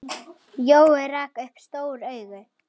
Jói rak upp stór augu.